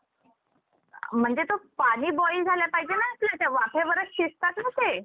म्हणजे तो पाणी boil झालं पाहिजे ना आपला वाफेवर शिजतात ना ते.